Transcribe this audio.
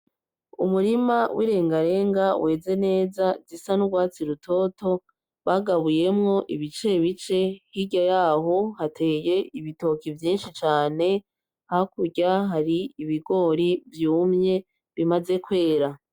Umurima wirengarenga weze neza ,zisa nurwatsi rutoto bagabuye wo ibicebice hirya yaho hateye ibitoke vyinshi cane hakurya yaho ibigori vyumye bimaze kwera.